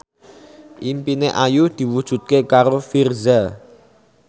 impine Ayu diwujudke karo Virzha